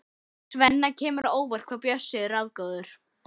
Svenna kemur á óvart hvað Bjössi er ráðagóður.